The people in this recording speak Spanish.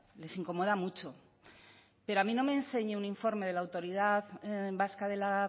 les incomoda mucho pero a mí no me enseñe un informe de la autoridad vasca de la